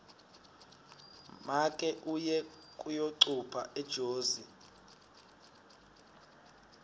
make uye kuyocupha ejozi